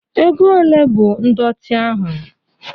Ego ole bụ ndọtị ahụ?